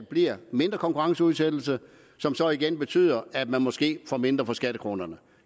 bliver mindre konkurrenceudsættelse som så igen betyder at man måske får mindre for skattekronerne